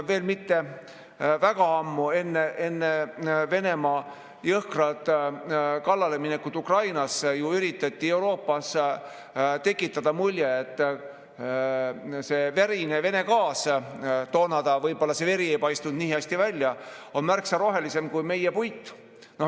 Tõsi, mitte väga ammu, aga enne Venemaa jõhkrat kallaleminekut Ukrainale ju üritati Euroopas tekitada mulje, et see verine Vene gaas, toona võib-olla see veri ei paistnud nii hästi välja, on märksa rohelisem kui meie puit.